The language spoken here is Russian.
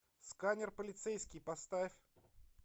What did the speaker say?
сканер полицейский поставь